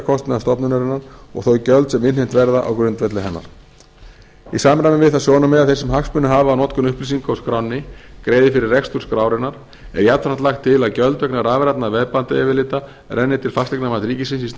heildarkostnaði stofnunarinnar og þau gjöld sem innheimt verða á grundvelli hennar í samræmi við það sjónarmið að þeir sem hagsmuni hafa af notkun upplýsinga úr skránni greiði fyrir rekstur skrárinnar er jafnframt lagt til að gjöld vegna rafrænna veðbandayfirlita renni til fasteignamats ríkisins í stað